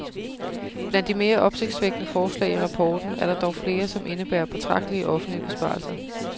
Blandt de mere opsigtsvækkende forslag i rapporten er der dog flere, som indebærer betragtelige offentlige besparelser.